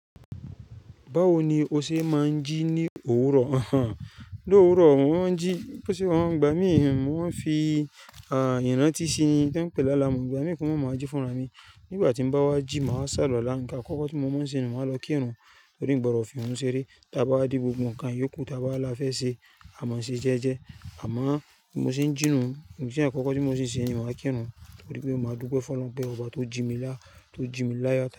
Báwo ni o ṣe máa ń jí ní òwúrọ̀? Ní òwúrọ̀ mo máa ń jí, bí ó ṣe máa ń gba mi, mo máa ń fi, ah, ìrántí sí i tí wọ́n ń pè lá àláàmù, ìgbà mí kan máa máa jí fúnra mi. Nígbà tín bá wá jí, màá sáluwala, nkan akoko tí mo máa ń ṣe nu, màá wa lọ kírun torí n gbodo fi irun ṣeré. Ta bá dé gbogbo nǹkan yòókù ta bá lá fẹ́ ṣe, a máa ṣe jẹ́ẹ́jẹ́. Àmọ́ bí mo ṣe ń jírun, nǹkan àkọ́kọ́ tí mo ṣi ṣe ni máa kírun torí pé mo máa dúpẹ́ fún ọlọ̀run pé ọba tó jí mi lá, tó jí mi láyo tá.